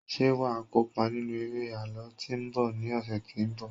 ṣe wa kópa nínú eré àlọ tí nbọ ni ọsẹ tínbọ̀